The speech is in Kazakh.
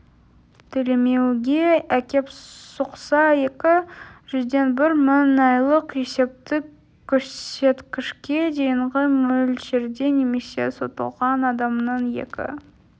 төлемеуге әкеп соқса екі жүзден бір мың айлық есептік көрсеткішке дейінгі мөлшерде немесе сотталған адамның екі